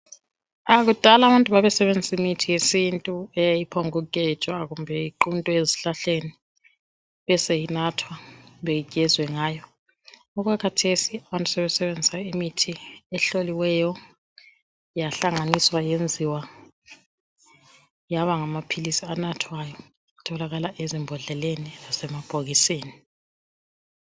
Aah kudala abantu babesebenzisa imithi yesintu, Eyayiphongukugejwa kumbe iquntwe ezihlahleni. Beseyinathwa kumbe igezwe ngayo. Okwakhathesi abantu sebesebenzisa imithi ehloliweyo. Yahlanganiswa. Yenziwa yaba ngamaphilisi anathwayo. Atholakala ezimbodleleni lasemabhokisini.